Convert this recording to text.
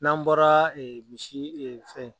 N'an bɔra misi fɛn.